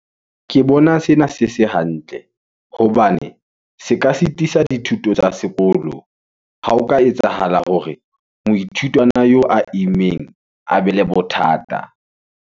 Ke bona sena se se hantle, hobane se ka setisa dithuto tsa sekolo. Ha ho ka etsahala hore moithutwana eo a immeng a be le bothata.